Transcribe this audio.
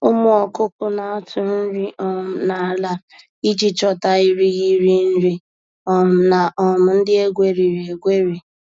Ụmụ ọkụkụ na-atụ nri um n’ala iji chọta irighiri nri um na um ndị egweriri egweri